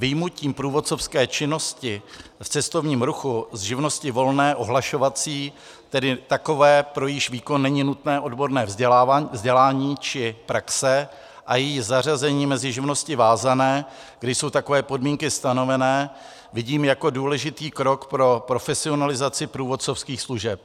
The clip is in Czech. Vyjmutím průvodcovské činnosti v cestovním ruchu z živnosti volné ohlašovací, tedy takové, pro jejíž výkon není nutné odborné vzdělání či praxe, a její zařazení mezi živnosti vázané, kde jsou takové podmínky stanovené, vidím jako důležitý krok pro profesionalizaci průvodcovských služeb.